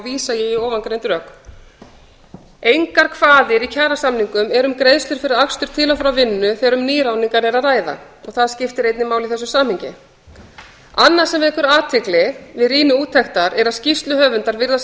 vísa ég í ofangreind rök engar kvaðir í kjarasamningum eru um greiðslur fyrir akstur til og frá vinnu þegar um nýráðningar er að ræða það skiptir einnig máli í þessu samhengi annað sem vekur athygli við rýni úttektar er að skýrsluhöfundar virðast